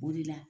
O de la